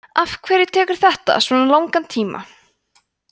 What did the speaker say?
afhverju tekur þetta svona langan tíma